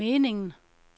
meningen